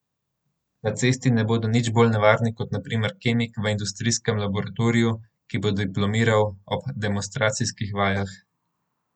Na cesti ne bodo nič bolj nevarni kot na primer kemik v industrijskem laboratoriju, ki bo diplomiral ob demonstracijskih vajah.